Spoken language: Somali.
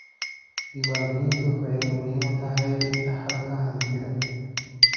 Diiwaangelintu waxay muhiim u tahay dhaxalka hantida.